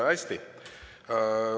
Hästi.